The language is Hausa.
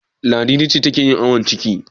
Ladidi ce take yin awon ciki.